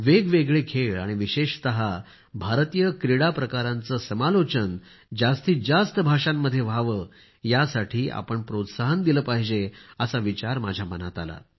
वेगवेगळे खेळ आणि विशेषत भारतीय क्रीडा प्रकारांचे समालोचन जास्तीत जास्त भाषांमध्ये व्हावे यासाठी आपण प्रोत्साहन दिले पाहिजे असा विचार माझ्या मनात आला